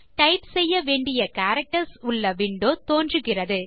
type செய்ய வேண்டிய characters உள்ள விண்டோ தோன்றுகிறது